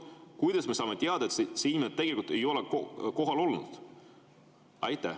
Kuidas me saame teada, et see inimene tegelikult ei ole kohal olnud?